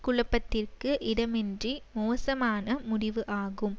குழப்பத்திற்கு இடமின்றி மோசமான முடிவு ஆகும்